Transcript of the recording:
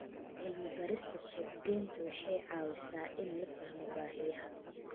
Cilmi-baarista suuqgeyntu waxay caawisaa in la fahmo baahiyaha.